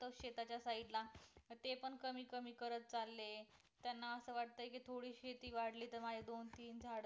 त्या शेताच side ला ते पण कमीत कमी करत चालले त्याना अस वाटतं की थोडी शेती वाढली तर माझे दोन तीन झाड